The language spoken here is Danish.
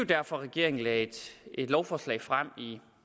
derfor regeringen lagde et lovforslag frem i